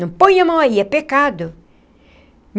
Não põe a mão aí, é pecado.